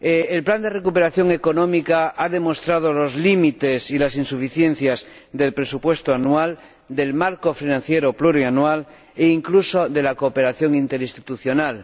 El plan de recuperación económica ha demostrado los límites y las insuficiencias del presupuesto anual, del marco financiero plurianual e incluso de la cooperación interinstitucional.